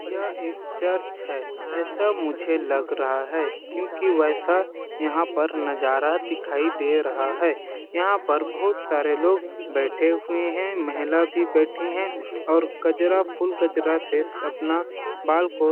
यह एक चर्च है ऐसा मुझे लग रहा है क्योंकि वैसा यहाँ पर नज़ारा दिखाई दे रहा है यहाँ पर बहुत सारे लोग बैठे हुए है महिला भी बैठी है और कजरा फूल कजरा से स अपना बाल को --